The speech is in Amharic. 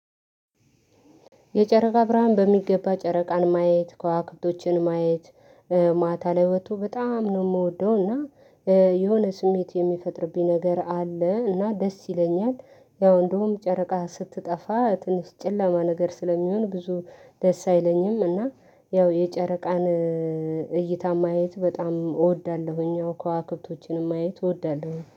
የጨረቃ ብርሃን በሚገባ ጨረቃን ማየት ከዋክብቶችን ማየት ማታ ላይ ወጥቶ በጣም ነው የምወደው እና የሆነ ስሜት የሚፈጥርብኝ ነገር አለ። እና ደስ ይለኛል። ያው እንደውም ጨረቃ ስትጠፋ ትንሽ ጨለማ ነገር ስለሚሆን ብዙ ደስ አይለኝም። እና የጨረቃን እይታ ማየት በጣም እወዳለሁኝ አዎ ከዋክብቶችንም ማየት እወዳለሁኝ